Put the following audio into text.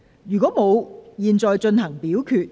如果沒有，現在進行表決。